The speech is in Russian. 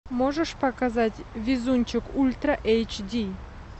можешь показать везунчик ультра эйч ди